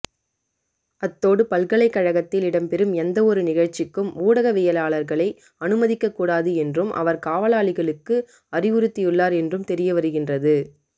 அத்தோடு பல்கலைக்கழகத்தில் இடம்பெறும் எந்தவொரு நிகழ்ச்சிக்கும் ஊடகவியலாளர்களை அனுமதிக்க கூடாது என்றும் அவர் காவலாளிகளுக்கு அறிவுறுத்தியுள்ளார் என்றும் தெரியவருகின்றது